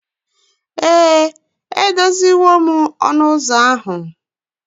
Ee, edoziwo m ụzọ ahu.